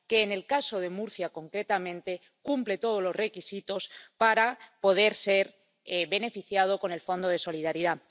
en el caso de Murcia concretamente, esta región cumple todos los requisitos para poder ser beneficiaria del Fondo de Solidaridad.